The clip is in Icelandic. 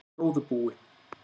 góðu búi.